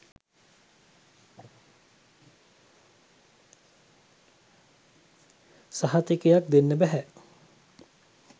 සහතිකයක් දෙන්න බැහැ.